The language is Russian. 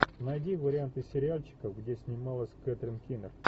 найди варианты сериальчиков где снималась кэтрин кинер